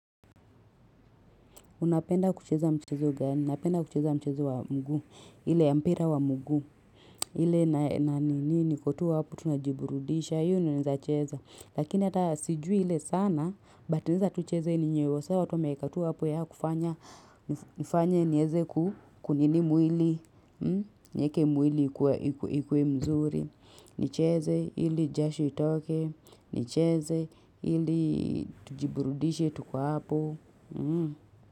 Unapenda kucheza mchezo gani, napenda kucheza mchezo wa mguu, ile mpira wa mguu, ile na ni niko tu hapo tunajiburudisha, hiyo ninaezacheza, lakini hata sijui ile sana, but naeza tu cheze yenyewe, sa watu wameekatu wa hapo ya kufanya, nifanya nieze kunini mwili, nieke mwili ikuwe mzuri, nicheze ili jasho itoke, nicheze ili tujiburudishe tukiwa hapo, mhm.